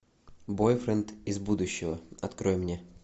бойфренд из будущего открой мне